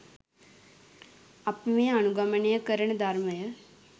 අපි මේ අනුගමනය කරන ධර්මය